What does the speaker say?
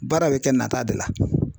Baara bɛ kɛ nata de la.